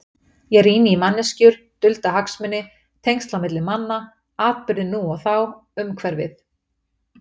Ég rýni í manneskjur, dulda hagsmuni, tengsl á milli manna, atburði nú og þá, umhverfið.